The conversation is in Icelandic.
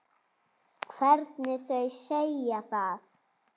Hvernig þau segja það.